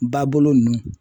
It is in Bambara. Ba bolo ninnu